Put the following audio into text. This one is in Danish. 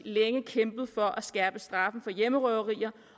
længe kæmpet for at skærpe straffen for hjemmerøverier